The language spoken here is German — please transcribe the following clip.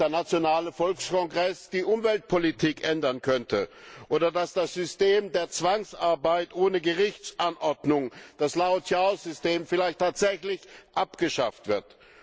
B. dass der Nationale Volkskongress die Umweltpolitik ändern könnte, oder dass das System der Zwangsarbeit ohne Gerichtsanordnung, das Laojiao System, vielleicht tatsächlich abgeschafft wird.